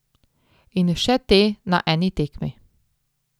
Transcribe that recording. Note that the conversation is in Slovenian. In še te na eni tekmi.